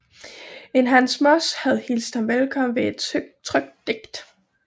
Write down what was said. En Hans Moss havde hilst ham velkommen ved et trykt digt